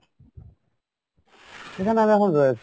এখানে আমি এখন রয়েছি।